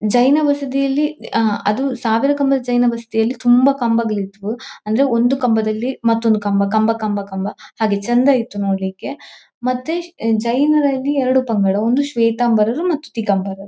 ಜೈನ ಅಹ್ ಅದು ಸಾವಿರ ಕಂಬದ ಜೈನ ತುಂಬಾ ಕಂಬಗಳು ಇದ್ವು ಅಂದ್ರೆ ಒಂದು ಕಂಬದಲ್ಲಿ ಮತ್ತೊಂದು ಕಂಬ ಕಂಬ ಕಂಬ ಕಂಬ ಹಾಗೆ ಚೆಂದ ಇತ್ತು ನೋಡ್ಲಿಕೆ ಮತ್ತೆ ಜೈನರಲ್ಲಿ ಎರಡು ಪಂಗಡ ಒಂದು ಶ್ವೇತಂಬರರು ಮತ್ತು ದಿಗಂಬರರು .